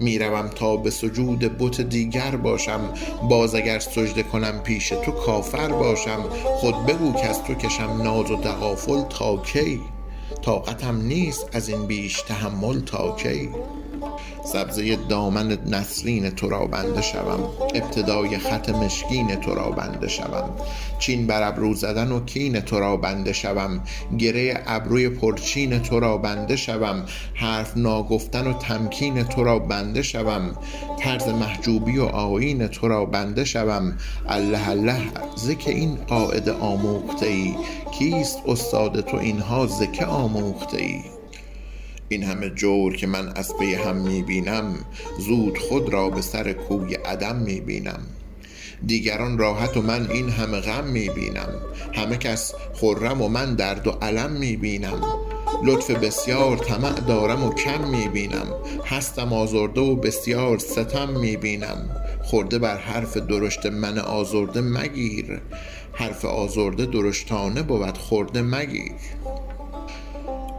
می روم تا به سجود بت دیگر باشم باز اگر سجده کنم پیش تو کافر باشم خود بگو کز تو کشم ناز و تغافل تا کی طاقتم نیست از این بیش تحمل تا کی سبزه دامن نسرین تو را بنده شوم ابتدای خط مشکین تو را بنده شوم چین بر ابرو زدن و کین تو را بنده شوم گره ابروی پرچین تو را بنده شوم حرف ناگفتن و تمکین تو را بنده شوم طرز محجوبی و آیین تو را بنده شوم الله الله ز که این قاعده اندوخته ای کیست استاد تو این ها ز که آموخته ای این همه جور که من از پی هم می بینم زود خود را به سر کوی عدم می بینم دیگران راحت و من این همه غم می بینم همه کس خرم و من درد و الم می بینم لطف بسیار طمع دارم و کم می بینم هستم آزرده و بسیار ستم می بینم خرده بر حرف درشت من آزرده مگیر حرف آزرده درشتانه بود خرده مگیر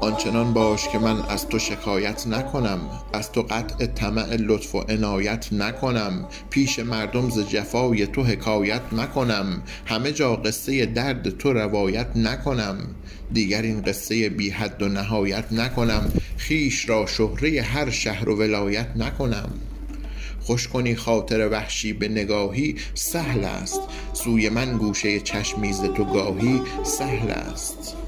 آن چنان باش که من از تو شکایت نکنم از تو قطع طمع لطف و عنایت نکنم پیش مردم ز جفای تو حکایت نکنم همه جا قصه درد تو روایت نکنم دیگر این قصه بی حد و نهایت نکنم خویش را شهره هر شهر و ولایت نکنم خوش کنی خاطر وحشی به نگاهی سهل است سوی من گوشه چشمی ز تو گاهی سهل است